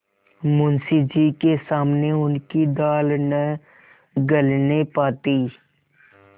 मुंशी जी के सामने उनकी दाल न गलने पाती